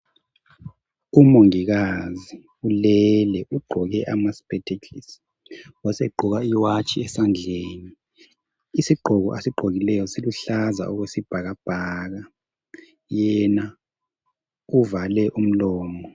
Umongikazi ulele ugqoke amaspactacles. Wasegqoka iwatshi esandleni, isigqoko asigqokileyo siluhlaza okwesibhakabhaka. Yena uvale umlomo.